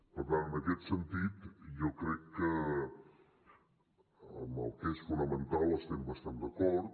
per tant en aquest sentit jo crec que en el que és fonamental estem bastant d’acord